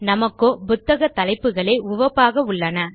நமக்கோ புத்தக் தலைப்புகளே உவப்பாக உள்ளன